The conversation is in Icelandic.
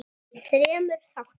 í þremur þáttum.